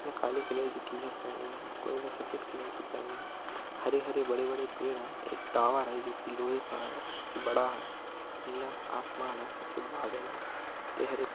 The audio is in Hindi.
यहाँ काले कलर की शर्ट पहनी है कोई ना सफेद कलर की पहनी हरि-हरि बड़े-बड़े पेड़ हैं एक टावर है जो की लोहे का है उसकी बड़ा है नीला आसमान है। सफेद बदल है हरे -हरे--